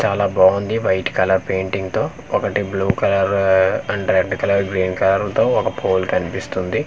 చాలా బావుంది white colour painting తో ఒకటి బ్లూ కలర్ హా and red colour green colour తో ఒక పోల్ కనిపిస్తుంది.